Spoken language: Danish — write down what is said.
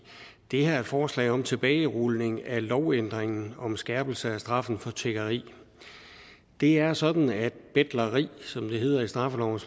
det her er et forslag om tilbagerulning af lovændringen om skærpelse af straffen for tiggeri det er sådan at betleri som det hedder i straffelovens